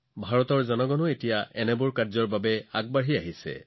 ভাৰততো এতিয়া ইয়াৰ বাবে বহু মানুহ আগবাঢ়ি আহিছে